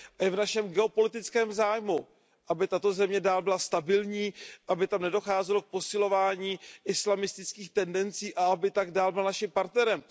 Je v našem geopolitickém zájmu, aby tato země byla dál stabilní, aby tam nedocházelo k posilování islamistických tendencí a aby tak dál byla naším partnerem.